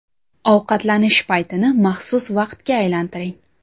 Ovqatlanish paytini maxsus vaqtga aylantiring.